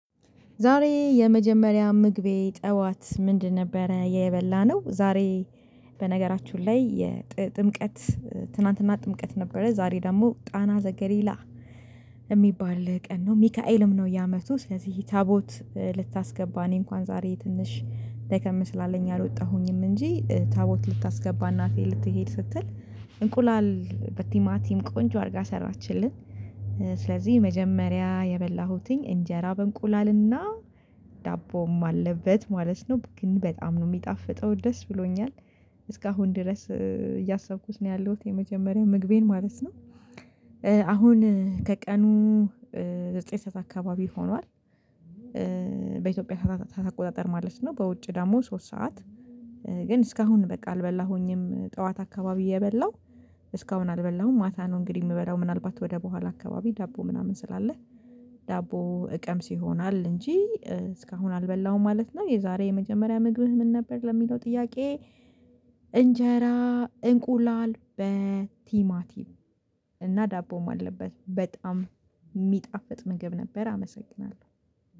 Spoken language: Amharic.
ዛሬ የመጀመሪያ ምግቤ ጠዋት ምንድን ነበረ የበላነው ዛሬ በነገራችሁ ላይ የጥምቀት ትናንትና ጥምቀት ነበረ ዛሬ ደግሞ ጣና ዘገሊላ የሚባል ቀን ነው ሚካኤልም ነው የአመቱ ስለዚህ ታቦት ልታስገባ እኔ እንኳን ዛሬ ትንሽ ደከም ስላለኝ አልወጣሁኝም እንጂ ታቦት ልታስገባ እናቴ ልትሄድ ስትል እንቁላል በቲማቲም ቆንጆ አድርጋ ሰራችልን ስለዚህ መጀመሪያ የበላሁትኝ እንጀራ በእንቁላልና ዳቦም አለበት ማለት ነው ግን በጣም ነው የሚጣፍጠው ድስ ብሎኛል እስካሁን ድረስ እያሰብኩት ነው ያለሁት የመጀመሪያው ምግቤን ማለት ነው አሁን ከቀኑ ዘጠኝ ሰዓት አካባቢ ሆኗል በኢትዮጵያ ሰዓታት ሰዓት አቆጣጠር ማለት ነው በውጭ ደግሞ ሶስት ሰዓት ግን እስካሁን በቃ አልበላሁኝም ጠዋት አካባቢ የበላሁ እስካሁን አልበላሁም፤ ማታ ነው እንግዲህ የምበላው ምናልባት ወደኋላ አካባቢ ዳቦ ምናምን ስላለ ዳቦ እቀምስ ይሆናል እንጂ እስካሁን አልበላሁም ማለት ነው፤ የዛሬ የመጀመሪያ ምግብህ ምን ነበር ለሚለው ጥያቄ እንጀራ እንቁላል በቲማቲም እና ዳቦም አለበት በጣም የሚጣፍጥ ምግብ ነበር አመሰግናለሁ።